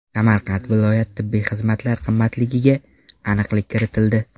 Samarqand viloyat tibbiy xizmatlar qimmatligiga aniqlik kiritildi.